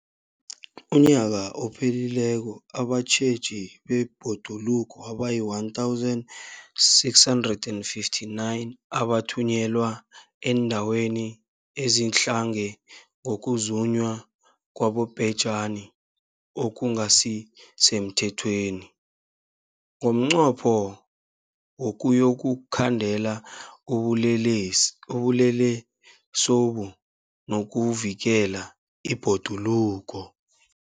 UmNnyaka ophelileko abatjheji bebhoduluko abayi-1 659 bathunyelwa eendaweni ezidlange ngokuzunywa kwabobhejani okungasi semthethweni ngomnqopho wokuyokukhandela ubulelesobu nokuvikela ibhoduluko.